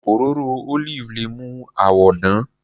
Òróró olive le mú àwọ dán.